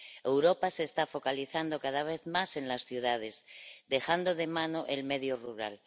Europa se está focalizando cada vez más en las ciudades, dejando de mano el medio rural.